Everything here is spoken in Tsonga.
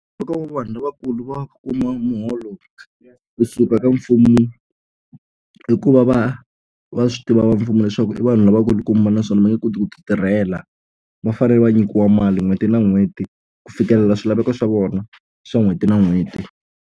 Loko vanhu lavakulu va kuma muholo kusuka ka mfumo i ku va va va swi tiva va mfumo leswaku i vanhu lavakulukumba naswona va nge koti ku ti tirhela va fanele va nyikiwa mali n'hweti na n'hweti ku fikelela swilaveko swa vona swa n'hweti na n'hweti.